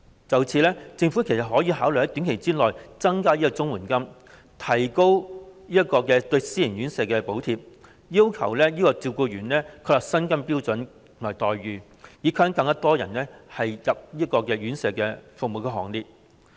就此，政府其實可考慮在短期內增加綜援金，提高對私營院舍的補貼，要求為照顧員確立薪金及待遇標準，以吸引更多人加入院舍服務的行列。